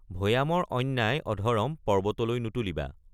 ভৈয়ামৰ অন্যায় অধৰম পৰ্ব্বতলৈ নুতুলিবা।